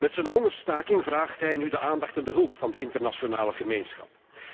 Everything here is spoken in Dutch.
Met zijn hongerstaking vraagt hij nu de aandacht en de hulp van de internationale gemeenschap.